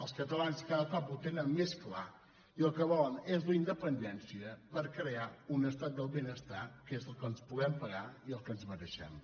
els catalans cada cop ho tenen més clar i el que volen és la independència per crear un estat del benestar que és el que ens podem pagar i el que ens mereixem